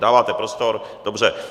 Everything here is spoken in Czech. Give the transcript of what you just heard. Dáváte prostor, dobře.